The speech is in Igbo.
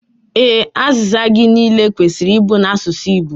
Ee, azịza gị niile kwesịrị ịbụ n'asụsụ Igbo